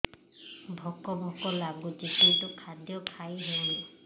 ଭୋକ ଭୋକ ଲାଗୁଛି କିନ୍ତୁ ଖାଦ୍ୟ ଖାଇ ହେଉନି